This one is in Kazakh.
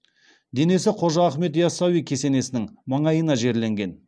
денесі қожа ахмет ясауи кесенесінің маңайына жерленген